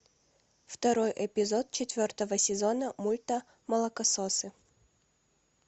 второй эпизод четвертого сезона мульта молокососы